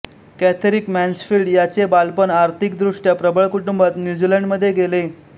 Catherine Mansfield यांचे बालपण आर्थिकदृष्टया प्रबळ कुटुंबात न्यूजीलैंडमध्ये गेले